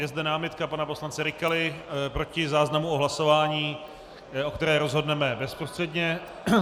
Je zde námitka pana poslance Rykaly proti záznamu o hlasování, o které rozhodneme bezprostředně.